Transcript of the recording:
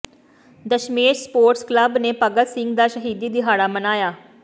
Dasmesh sports club ਨੇ ਭਗਤ ਸਿੰਘ ਦਾ ਸ਼ਹੀਦੀ ਦਿਹਾੜਾ ਮਨਾਇਆ